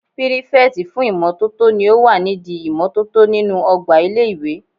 Pírífẹ̀tì fún ìmótótó ní o wà nídi ìmótótó nínu ọgbà ilé-ìwé